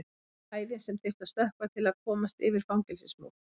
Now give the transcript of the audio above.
Hæðin sem þyrfti að stökkva til að komast yfir fangelsismúr.